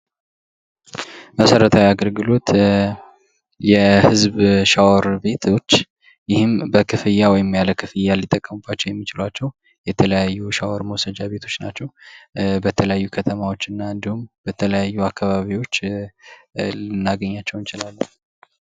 መሰረታዊ የአገልግሎት የህዝብሻወር ቤቶች ይህን በክፍያ ወይም ያለ ክፍያ ሊጠቀሙባቸው የሚችላቸው የተለያዩ ሻወር መውሰጃ ቤቶች ናቸው በተለያዩ ከተማዎች እና እንዲሁም በተለያዩ አካባቢዎች ልናገኛቸው እንችላለን።